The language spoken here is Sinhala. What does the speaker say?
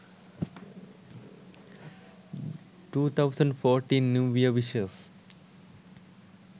2014 new year wishes